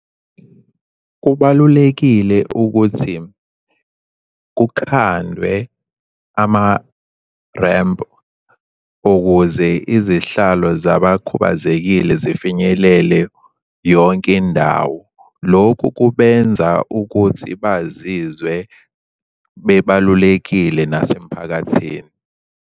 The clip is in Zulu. Kubalulekile ukuthi kukhandwe ama-ramp, ukuze izihlalo zabakhubazekile zifinyelele yonke indawo. Lokhu kubenza ukuthi bazizwe bebalulekile nasemphakathini.